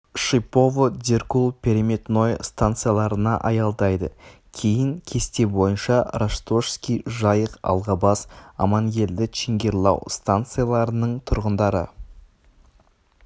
шипово деркул переметное станцияларына аялдайды кейін кесте бойынша ростошский жайык алгабас амангельды чингирлау станцияларының тұрғындары